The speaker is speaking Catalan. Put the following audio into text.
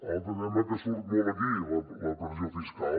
l’altre tema que surt molt aquí la pressió fiscal